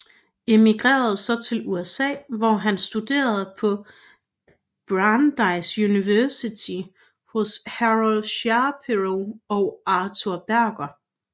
Emigrerede så til USA hvor han studerede på Brandeis University hos Harold Shapero og Arthur Berger